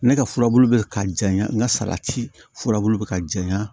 Ne ka furabulu bɛ ka jaɲa n ka salati furabulu bɛ ka jaɲa